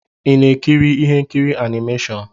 Ị na-ekiri ihe nkiri animashon?